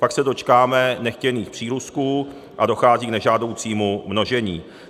Pak se dočkáme nechtěných přírůstků a dochází k nežádoucímu množení.